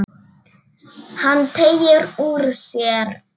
Hann teygir úr sér.